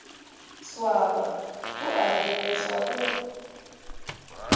swaba o a rereša go